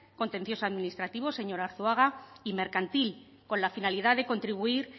contencioso administrativo señor arzuaga y mercantil con la finalidad de contribuir